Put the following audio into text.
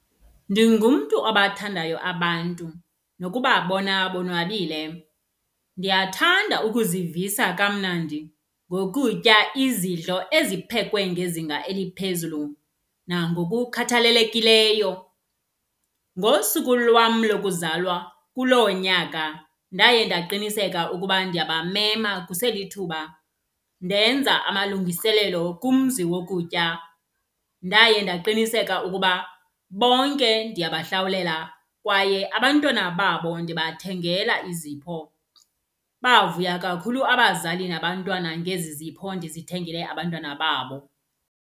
Ndingumntu abathandayo abantu, nokubabona bonwabile. Ndiyathanda ukuzivisa kamnandi ngokutya izidlo eziphekwe ngezinga eliphezulu nangokukhathalelekileyo. Ngosuku lwam lokuzalwa kuloo nyaka, ndaye ndaqiniseka ukuba ndiyabamema kuselithuba. Ndenza amalungiselelo kumzi wokutya, ndaye ndaqiniseka ukuba bonke ndiyabahlawulela kwaye abantwana babo ndibathengela izipho. Bavuya kakhulu abazali nabantwana ngezi zipho ndizithengele abantwana babo.